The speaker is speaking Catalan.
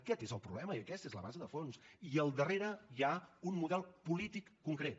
aquest és el problema i aquesta és la base de fons i al darrere hi ha un model polític concret